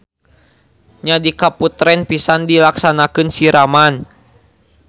Nya di kaputren pisan dilaksanakeun siraman.